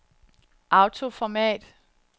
autoformat